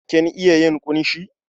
Kin iya yin ƙunshi?